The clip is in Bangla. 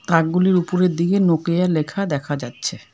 তাকগুলির উপরের দিকে নোকিয়া লেখা দেখা যাচ্ছে।